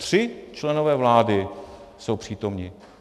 Tři členové vlády jsou přítomni.